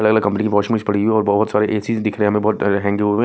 अलग-अलग कंपनी के वाचेस पड़ी हुई हैं और बहुत सारे ए_सीस् दिख रहे हैं बहुत हो रही हैं।